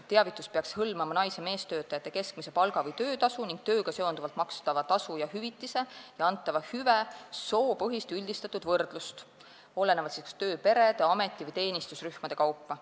Teavitus peaks hõlmama nais- ja meestöötajate keskmise palga või töötasu ning tööga seonduvalt makstava tasu ja hüvitise ja antava hüve soopõhist üldistatud võrdlust kas tööperede, ameti- või teenistusrühmade kaupa.